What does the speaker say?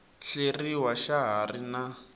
hleriwa xa ha ri na